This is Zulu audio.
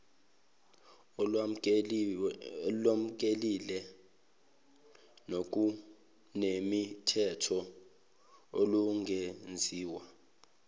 olwamukelekile nokunemithetho olungenziwa